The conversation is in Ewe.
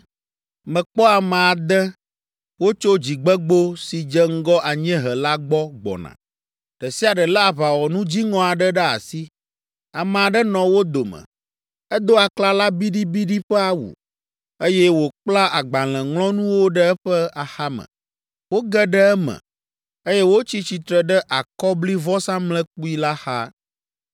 Mekpɔ ame ade wotso dzigbegbo si dze ŋgɔ anyiehe la gbɔ gbɔna; ɖe sia ɖe lé aʋawɔnu dziŋɔ aɖe ɖe asi. Ame aɖe nɔ wo dome, edo aklala biɖibiɖi ƒe awu, eye wòkpla agbalẽŋlɔnuwo ɖe eƒe axame. Woge ɖe eme, eye wotsi tsitre ɖe akɔblivɔsamlekpui la xa.